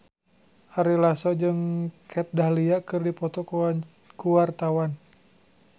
Ari Lasso jeung Kat Dahlia keur dipoto ku wartawan